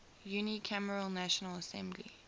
unicameral national assembly